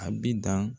A bi dan